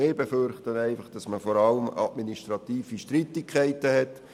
Wir befürchten, dass man vor allem administrative Streitigkeiten hätte.